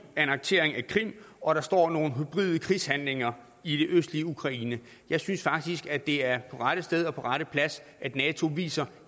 annektering af krim og der står nogle hybride krigshandlinger i det østlige ukraine jeg synes faktisk at det er på rette sted og på rette plads at nato viser